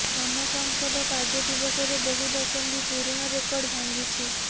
ଆମ ସଂସଦ କାର୍ଯ୍ୟଦିବସରେ ବହୁ ଦଶନ୍ଧି ପୁରୁଣା ରେକର୍ଡ ଭାଙ୍ଗିଛି